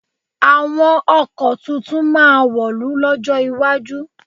Àwọn ọkọ̀ tuntun máa wọ̀lú lọ́jọ́ iwájú.